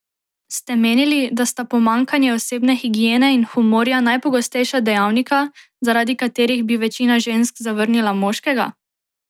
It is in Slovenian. Ste menili, da sta pomanjkanje osebne higiene in humorja najpogostejša dejavnika, zaradi katerih bi večina žensk zavrnila moškega?